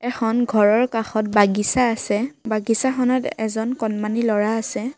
এখন ঘৰৰ কাষত বাগিচা আছে বাগিচাখনত এজন কণমানি ল'ৰা আছে।